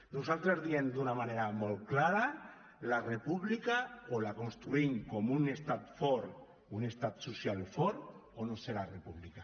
nosaltres diem d’una manera molt clara la república o la construïm com un estat fort un estat social fort o no serà república